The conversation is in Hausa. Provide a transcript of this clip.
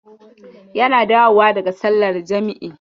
Yana dawowa daga sallar jam'i.